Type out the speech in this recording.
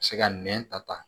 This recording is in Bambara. Se ka nɛn ta